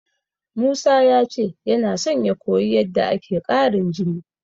Musa ya ce yana son ya koyi yadda ake ƙarin jini.